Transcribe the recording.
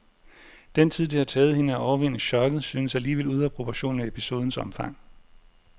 Den tid, det har taget hende at overvinde choket, synes alligevel ude af proportion med episodens omfang.